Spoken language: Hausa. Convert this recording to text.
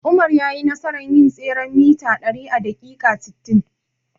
Umar yayi nasarar yin tseren mita ɗari a daƙiƙa sittin.